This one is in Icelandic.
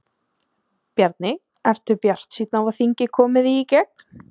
Bjarni, ertu bjartsýnn á að þingið komi því í gegn?